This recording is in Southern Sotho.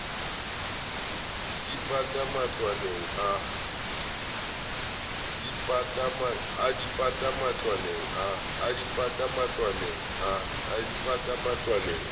a di pata matlwaneng a